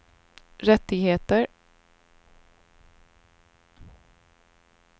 rättigheter